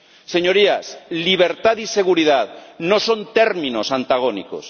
Señorías, libertad y seguridad no son términos antagónicos.